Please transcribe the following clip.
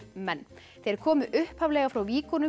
menn þeir komu upphaflega frá